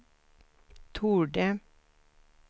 torde